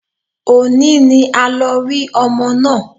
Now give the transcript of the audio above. Òní ni a lọ rí ọmọ náà